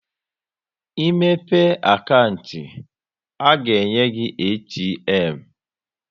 Ị mepe akantị, a ga-enye gị ATM